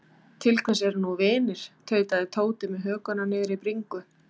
Til hvers eru nú vinir. tautaði Tóti með hökuna niðri í bringu.